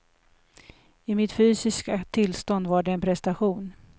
I mitt fysiska tillstånd var det en prestation.